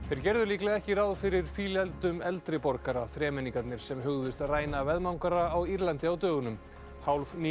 þeir gerðu líklega ekki ráð fyrir eldri borgara þremenningarnir sem hugðust ræna á Írlandi á dögunum